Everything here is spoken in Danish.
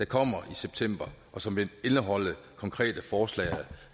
kommer i september og som vil indeholde konkrete forslag